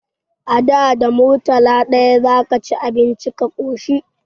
A da, da murtala ɗaya za ka ci abinci ka ƙoshi.